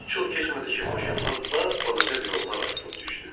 Çox keçmədi ki, maşından bap-balaca bir oğlan atılıb düşdü.